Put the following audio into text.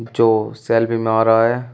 जो सेल्फी में आ रहा है।